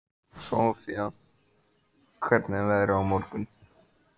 Sofía, hvernig er veðrið á morgun?